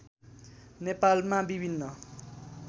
नेपालमा विभिन्न